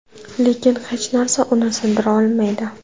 Lekin hech narsa uni sindira olmaydi.